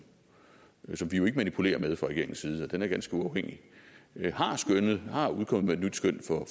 som vi jo ikke manipulerer med fra regeringens side for den er ganske uafhængig har skønnet er kommet med et nyt skøn